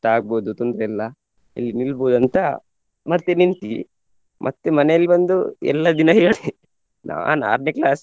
ಆಗ್ಬೋದು ತೊಂದ್ರೆ ಇಲ್ಲ ಇಲ್ಲಿ ನಿಲ್ಬೋದು ಅಂತ ಮತ್ತೆ ನಿಂತ್ವಿ ಮತ್ತೆ ಮನೆಯಲ್ಲಿ ಬಂದು ಎಲ್ಲ ದಿನ ಹೇಳಿ ನಾನ್ ಆರ್ನೆ class .